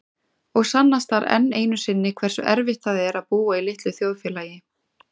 Og sannast þar enn einu sinni hversu erfitt það er að búa í litlu þjóðfélagi.